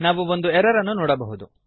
ನಾವು ಒಂದು ಎರರ್ ಅನ್ನು ನೋಡಬಹುದು